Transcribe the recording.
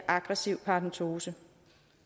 aggressiv paradentose